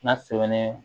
N'a sɛbɛnnen don